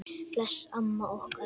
Bless amma okkar.